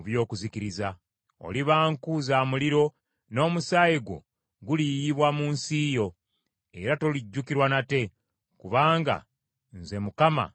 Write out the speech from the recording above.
Oliba nku za muliro, n’omusaayi gwo guliyiyibwa mu nsi yo, era tolijjukirwa nate, kubanga nze Mukama njogedde.’ ”